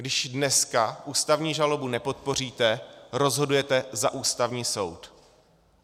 Když dneska ústavní žalobu nepodpoříte, rozhodujete za Ústavní soud.